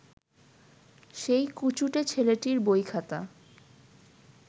সেই কুচুটে ছেলেটির বইখাতা